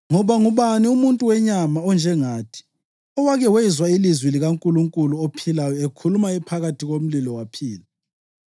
Ngoba ngubani umuntu wenyama onjengathi owake wezwa ilizwi likaNkulunkulu ophilayo ekhuluma ephakathi komlilo, waphila na?